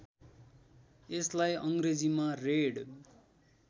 यसलाई अङ्ग्रेजीमा रेड